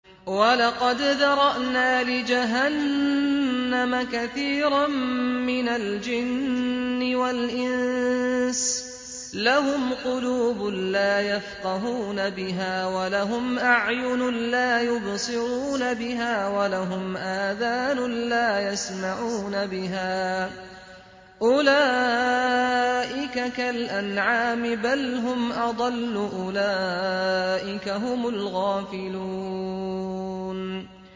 وَلَقَدْ ذَرَأْنَا لِجَهَنَّمَ كَثِيرًا مِّنَ الْجِنِّ وَالْإِنسِ ۖ لَهُمْ قُلُوبٌ لَّا يَفْقَهُونَ بِهَا وَلَهُمْ أَعْيُنٌ لَّا يُبْصِرُونَ بِهَا وَلَهُمْ آذَانٌ لَّا يَسْمَعُونَ بِهَا ۚ أُولَٰئِكَ كَالْأَنْعَامِ بَلْ هُمْ أَضَلُّ ۚ أُولَٰئِكَ هُمُ الْغَافِلُونَ